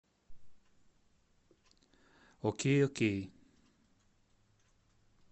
окей окей